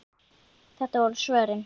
Þetta voru svörin.